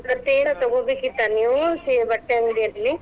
ಮತ್ತೇನರ ತಗೊಬೇಕಿತ್ತಾ ನೀವು ಬಟ್ಟೆ ಅಂಗಡಿಯಲ್ಲಿ?